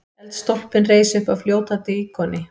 Eldstólpinn reis uppaf fljótandi íkoni.